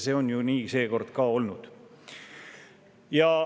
See on ju seekord nii ka olnud.